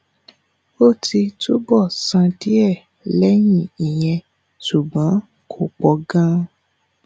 ó ti túbọ̀ sàn díẹ̀ lẹ́yìn ìyẹn ṣùgbọ́n kò pọ̀ gan-an